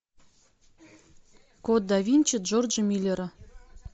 код да винчи джорджа миллера